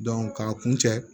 k'a kun cɛ